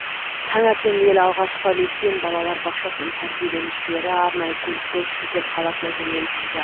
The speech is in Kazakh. таңертең ең алғашқы лекпен балалар бақшасының тәрбиленушілері арнайы көлікпен шымкент қаласына жөнелтілді